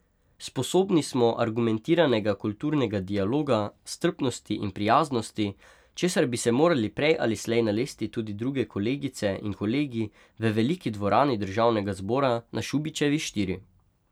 Sposobni smo argumentiranega kulturnega dialoga, strpnosti in prijaznosti, česar bi se morali prej ali slej nalesti tudi druge kolegice in kolegi v veliki dvorani državnega zbora na Šubičevi štiri.